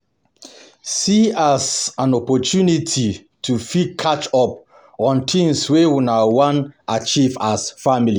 See am as opportunity to fit catch up on things wey una wan achieve as family